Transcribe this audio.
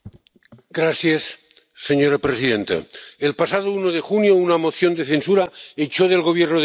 Señora presidenta, el pasado 1 de junio una moción de censura echó del Gobierno de España a Mariano Rajoy.